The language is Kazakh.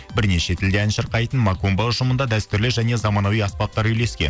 бірнеше тілде ән шырқайтын макумба ұжымында дәстүрлі және замануи аспаптар үйлескен